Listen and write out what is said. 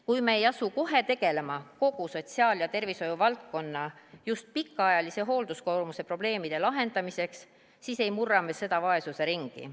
Kui me ei asu kohe tegelema kogu sotsiaal- ja tervishoiuvaldkonna pikaajalise hoolduskoormuse probleemide lahendamisega, siis ei murra me seda vaesuse ringi.